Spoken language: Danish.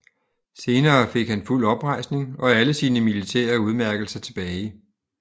Senere fik han fuld oprejsning og alle sine militære udmærkelser tilbage